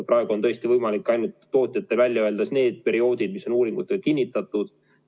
Praegu on tõesti võimalik ainult tootjatel välja öelda need perioodid, mis on uuringutega kinnitatud.